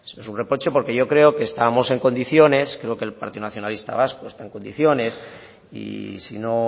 es un reproche porque yo creo que estábamos en condiciones creo que el partido nacionalista vasco está en condiciones y si no